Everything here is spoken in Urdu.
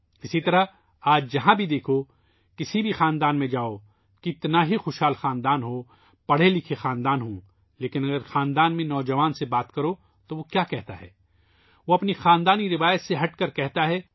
اسی طرح آج آپ جہاں کہیں بھی دیکھیں ، کسی بھی خاندان میں جائیں ، چاہے وہ خاندان کتنا ہی امیر کیوں نہ ہو ، پڑھا لکھا خاندان لیکن اگر آپ خاندان کے نوجوان سے بات کریں تو وہ اپنے خاندان سے کیا کہتا ہے جو کہ روایات سے ہٹ کر کہتا ہے